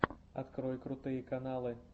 открой крутые каналы